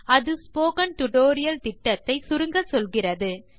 அது spoken tutorial திட்டத்தை சுருங்கச்சொல்கிறது